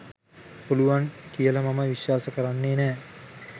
පුළුවන් කියල මම විශ්වාස කරන්නේ නෑ